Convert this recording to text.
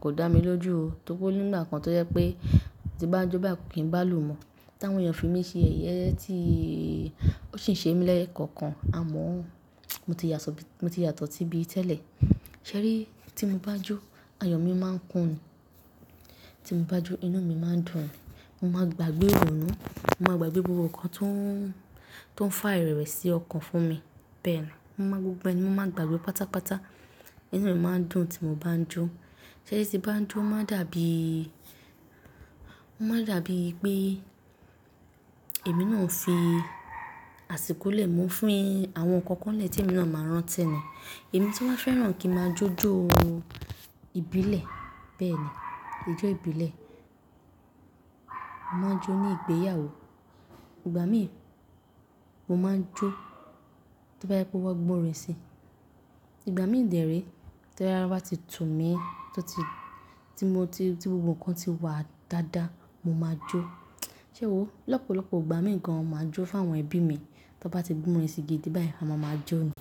kò dá mi lójú o. Torí o nígbà kan tó jẹ́ pé tí bá jó báyi kò kí ń bá lù ú mọ̀, tí àwọn èèyàn fi mí ṣe yẹyẹ tí ó sì ń ṣe mí lẹ́ẹ̀kọ̀kan, àmọ́ mo ti yàtọ̀, mo ti yàtọ̀ tíbí tẹ́lẹ̀. Ṣẹ́rí tí mo bá jó, ayọ̀ mi máa ń kún ni. Tí mo bá jó inú mi máa ń dùn ni. Mo máa gbàgbé ìrònú, mo máa gbàgbé gbogbo ohun kan tó ń, tó ń fá irewe sí ọkàn fún mi. Bẹ́ẹ̀ ni, mo máa gbogbo ẹni mo máa gbàgbé pátápátá. Inú mi máa ń dùn tí mo bá ń jó. Ṣẹ́rí tí bá ń jó ó máa dàbí, ó máa dàbí pé èmi náà ń fi àsìkò lẹ́ mú fin àwọn nǹkan kan lè tí èmi náà máa rántí ni. Èmi tí wá fẹ́ràn kí n máa jójo ìbílẹ̀. Bẹ́ẹ̀ ni ijó ìbílẹ̀. Mo máa ń jó ní ìgbéyàwó. Ìgbà mìí mo máa ń jó tí bá yá pé wọ́n gbọ́ orin sí i. Ìgbà mìí de re tí ara ti tu mi, tí mo ti, tí gbogbo ohun kan ti wà dáadáa, mo máa jó. Ṣé o, lọ́pọ̀lọpọ̀ ìgbà mìí gan máa jó fún àwọn ẹbí mi. Tí wọ́n bá ti gbé orin gidi báyìí a máa ma jó ni.